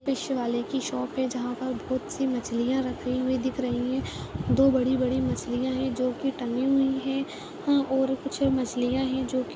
फिश वाले की शॉप है जहाँ पर बहोत सी मछलियां रखी हुई दिख रही हैं दो बड़ी-बड़ी मछलियां हैं जोकि टंगी हुई हैं हाँ और कुछ मछलियां हैं जोकि --